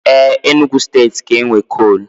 Éè, Enugu steeti ga-enwe kol